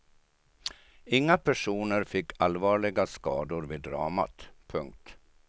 Inga personer fick allvarliga skador vid dramat. punkt